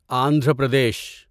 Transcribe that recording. Andhra Pradesh